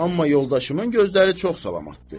Amma yoldaşımın gözləri çox salamatdır.